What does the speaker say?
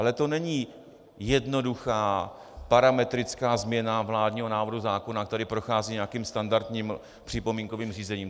Ale to není jednoduchá parametrická změna vládního návrhu zákona, který prochází nějakým standardním připomínkovým řízením.